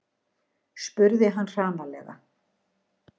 spurði hann hranalega.